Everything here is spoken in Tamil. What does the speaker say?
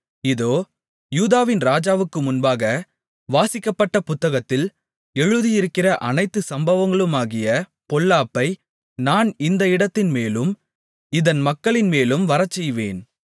இதோ யூதாவின் ராஜாவுக்கு முன்பாக வாசிக்கப்பட்ட புத்தகத்தில் எழுதியிருக்கிற அனைத்து சாபங்களுமாகிய பொல்லாப்பை நான் இந்த இடத்தின்மேலும் இதன் மக்களின்மேலும் வரச்செய்வேன்